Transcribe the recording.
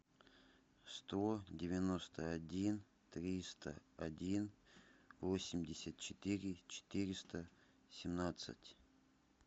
сто девяносто один триста один восемьдесят четыре четыреста семнадцать